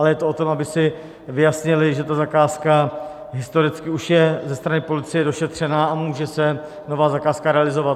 Ale je to o tom, aby si vyjasnili, že ta zakázka historicky už je ze strany policie došetřena a může se nová zakázka realizovat.